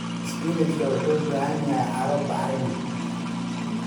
Spinach wuxuu u baahan yahay carro bacrin ah.